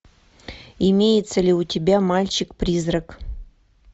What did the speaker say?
имеется ли у тебя мальчик призрак